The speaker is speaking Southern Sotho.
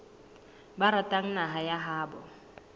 ba ratang naha ya habo